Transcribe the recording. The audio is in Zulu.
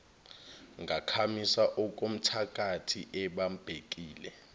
ngakhamisa okomthakathi ebambekile